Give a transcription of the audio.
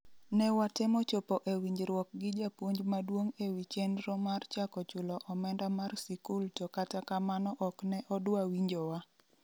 ne watemo chopo e winjruok gi japuonj maduong' e wi chenro mar chako chulo omenda mar sikul to kata kamano ok ne odwa winjowa